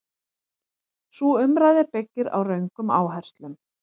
Sú umræða byggir á röngum áherslum.